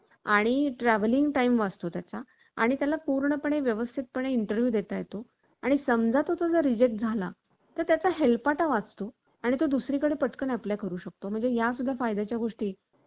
Chat GPT chat GPT मुळे ज्ञान क्षेत्रातील मनुष्यबळाच्या मागणीवरती त्वरित परिणाम होऊ शकतो, असे मत